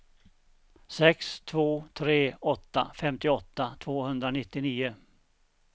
sex två tre åtta femtioåtta tvåhundranittionio